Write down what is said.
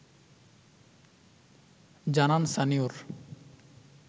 জানান সানিউর